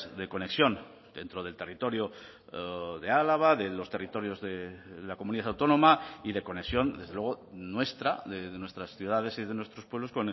de conexión dentro del territorio de álava de los territorios de la comunidad autónoma y de conexión desde luego nuestra de nuestras ciudades y de nuestros pueblos